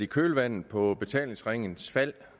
kølvandet på betalingsringens fald